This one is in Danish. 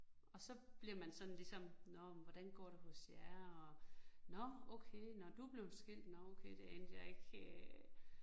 Og så bliver man sådan ligesom, nåh men hvordan går det hos jer og, nåh okay nåh du blevet skilt nåh okay det anede jeg ikke øh